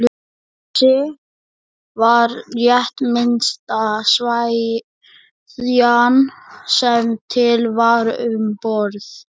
Níelsi var rétt minnsta sveðjan sem til var um borð.